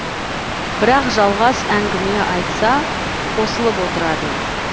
бірақ жалғас әңгіме айтса қосылып отырады